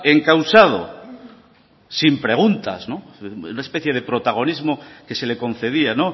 encausado sin preguntas una especie de protagonismo que se le concedía